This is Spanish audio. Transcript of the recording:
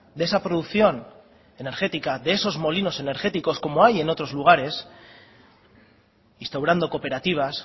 de esa producción energética de esos molinos energéticos como hay en otros lugares instaurando cooperativas